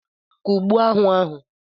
Kụgbuo aṅụ ahụ!